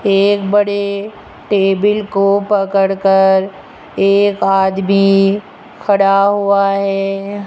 एक बड़े टेबिल को पड़कर एक आदमी खड़ा हुआ है।